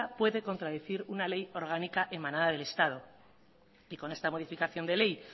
puede contradecir una ley orgánica emanada del estado y con esta modificación de ley